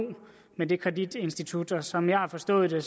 med det kreditinstitut som jeg har forstået det